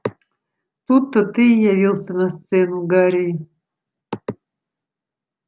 тут-то ты и явился на сцену гарри